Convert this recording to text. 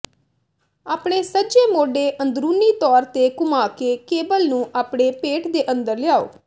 ਆਪਣੇ ਸੱਜੇ ਮੋਢੇ ਅੰਦਰੂਨੀ ਤੌਰ ਤੇ ਘੁੰਮਾ ਕੇ ਕੇਬਲ ਨੂੰ ਆਪਣੇ ਪੇਟ ਦੇ ਅੰਦਰ ਲਿਆਓ